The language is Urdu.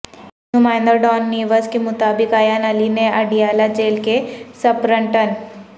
نمائندہ ڈان نیوز کے مطابق ایان علی نے اڈیالہ جیل کے سپرنٹن